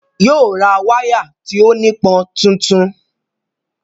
Yóò ra wáyà tí ó nípọn tuntun